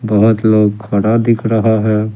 बहुत लोग खड़ा दिख रहा है ।